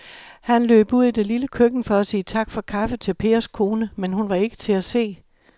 Han løb ud i det lille køkken for at sige tak for kaffe til Pers kone, men hun var ikke til at se.